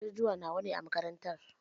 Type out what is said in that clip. Ajujuwa nawa ne a makarantar?